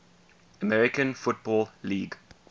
american football league